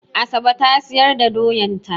Asabe ta siyar da doyan ta.